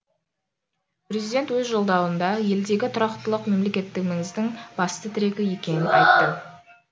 президент өз жолдауында елдегі тұрақтылық мемлекеттігіміздің басты тірегі екенін айтты